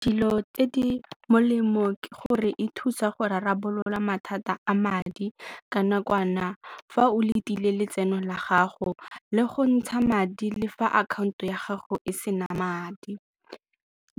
Dilo tse di molemo ke gore e thusa go rarabolola mathata a madi ka nakwana fa o letile letseno la gago le go ntsha madi le fa akhaonto ya gago e sena madi.